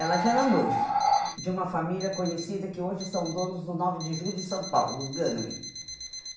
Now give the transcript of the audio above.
Ela já era noiva de uma família conhecida que hoje são donos do nove de Julho de São Paulo, os Gâname.